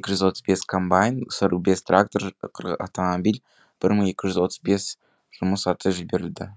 екі жүз отыз бес комбайн сырық бес трактор қырық автомобиль бір мың екі жүз отыз бес жұмыс аты жіберілді